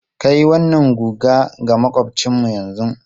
Kai wannan guga ga maƙwabcinmu yanzu!